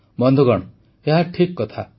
ବନ୍ଧୁଗଣ ଏହା ଠିକ କଥା